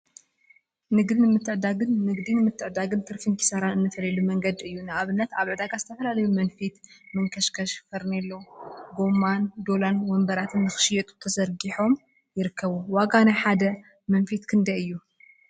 ንግዲን ምትዕድዳግን ንግዲን ምትዕድዳግን ትርፊን ኪሳራን እንፈልየሉ መንገዲ እዩ፡፡ ንአብነት አብ ዕዳጋ ዝተፈላለዩ መንፊት፣ መንከሽከሽ፣ ፈርኔሎ፣ ጎማ ዶላን ወንበራትን ንክሽየጡ ተዘርጊሖም ይርከቡ፡፡ ዋጋ ናይ ሓደ መንፊት ክንደይ እዩ?